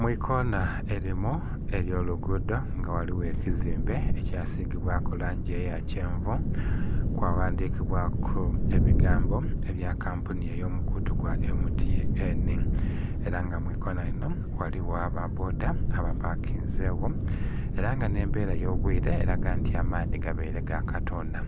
Mu ikoona erimu ery'oluguudo nga ghaligho ekizimbe ekyasigibwaku langi eya kyenvu kwaghandhikibwaku ebigambo ebya kampuni ey'omukutu gwa M.T.N era nga mu ikoona lino ghaligho aba bboda abapakinzegho era nga n'embera y'obwiire eraga nti amaadhi gabaire gakatoona.